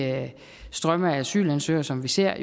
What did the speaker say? strømme af asylansøgere som vi ser